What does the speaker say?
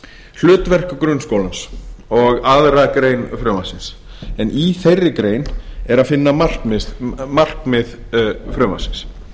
hlutverk grunnskólans og aðra grein frumvarpsins en í þeirri grein er að finna markmið frumvarpsins